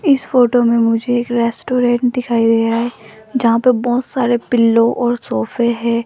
इस फोटो में मुझे एक रेस्टोरेंट दिखाई दे रहा है जहां पे बहुत सारे पिल्लो और सोफे हैं।